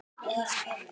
En pabbi.